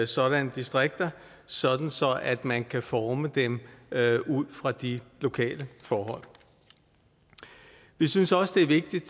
sådanne distrikter sådan at man kan forme dem ud fra de lokale forhold vi synes også det er vigtigt